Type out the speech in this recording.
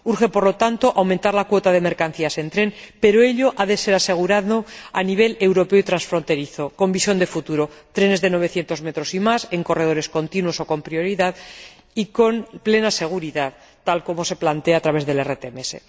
Urge, por lo tanto, aumentar la cuota de mercancías en tren, pero ello ha de ser asegurado a nivel europeo y transfronterizo, con visión de futuro, trenes de 900 metros y más en corredores continuos o con prioridad y con plena seguridad, tal y como se plantea a través del RTMS.